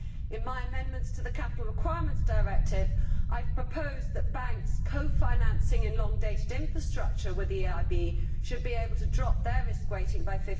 In my amendments to the Capital Requirements Directive, I have proposed that banks co financing long dated infrastructure with the EIB should be able to drop their risk rating by